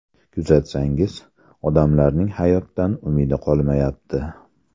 Kuzatsangiz, odamlarning hayotdan umidi qolmayapti.